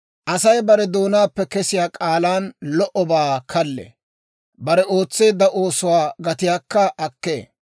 Asay bare doonaappe kesiyaa k'aalan lo"obaa kallee; bare ootseedda oosuwaa gatiyaakka akkee.